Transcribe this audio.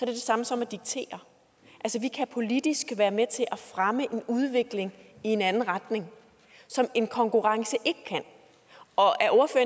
det samme som at diktere vi kan politisk være med til at fremme en udvikling i en anden retning som en konkurrence ikke kan og